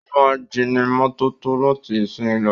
Ó máa jónímọ́tótó láti ìsìnyí lọ.